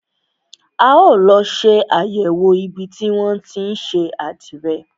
A ó lọ ṣe àyẹ̀wò ibi tí wọn tí ń ṣe àdìrẹ.